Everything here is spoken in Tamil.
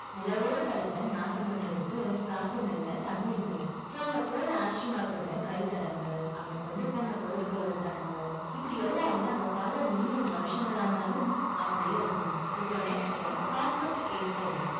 நிலவோட தளத்தை நாசம் பண்றதுக்கு, காத்தும் இல்ல, தண்ணியும் இல்ல so அங்க போன astronauts ஓட கை தடங்கள், அங்க கொண்டு போன பொருட்களோட தடங்கள், இப்படி எல்லாமே அங்க பல million வருஷங்கள் ஆனாலும், அப்படியே இருக்குமாம். இப்போ next concept case study